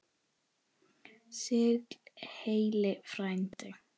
Sigl heill frændi.